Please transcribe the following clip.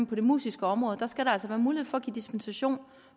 på det musiske område skal der altså være mulighed for at give dispensation